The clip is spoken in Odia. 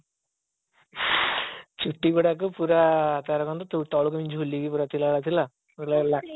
ଛୁଟି ଗୁଡାକ ତାର ଏମିତି ତଳକୁ ଝୁଲିକି ପୁରା ଥିଲା ଭଳିଆ ଥିଲା ମତେ ଲାଗିଲା